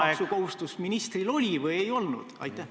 ... sotsiaalmaksukohustus ministril oli või ei olnud?